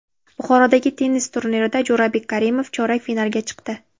Buxorodagi tennis turnirida Jo‘rabek Karimov chorak finalga chiqdi.